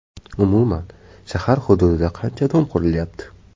Umuman, shahar hududida qancha dom qurilyapti?